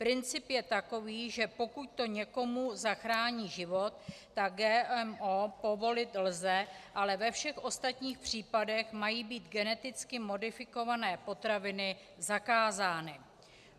Princip je takový, že pokud to někomu zachrání život, tak GMO povolit lze, ale ve všech ostatních případech mají být geneticky modifikované potraviny zakázány.